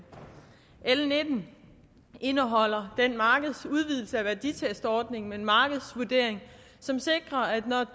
l nitten indeholder en markedsudvidelse af værditestordningen med en markedsvurdering som sikrer at når